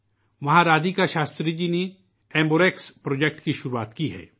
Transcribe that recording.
یہاں رادھیکا شاستری جی نے ایمبوآر ایکس ایمبو ریکس پروجیکٹ شروع کیا ہے